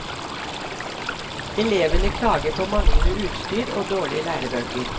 Elevene klager på manglende utstyr og dårlige lærebøker.